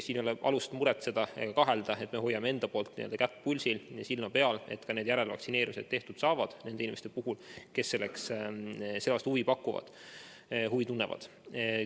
Siin ei ole alust muretseda ega kahelda, me hoiame kätt pulsil ja silma peal, et ka järelvaktsineerimised saaksid tehtud nende inimeste puhul, kes selle vastu huvi tunnevad.